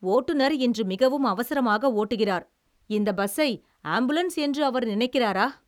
ஓட்டுனர் இன்று மிகவும் அவசரமாக ஓட்டுகிறார். இந்த பஸ்ஸை ஆம்புலன்ஸ் என்று அவர் நினைக்கிறாரா?